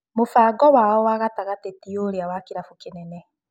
Mũbango wa wao wa gatagatĩ tiũrĩa kĩrabu kĩnene.